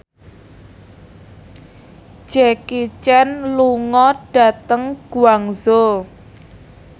Jackie Chan lunga dhateng Guangzhou